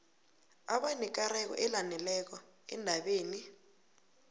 abanekareko elaneleko endabeni